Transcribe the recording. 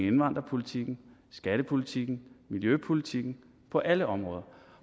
indvandrerpolitikken skattepolitikken og miljøpolitikken på alle områder